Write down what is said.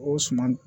O suman